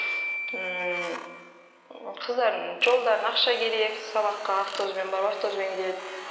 ммм қыздарымның жолдарына ақша керек сабаққа автобуспен барып автобуспен келеді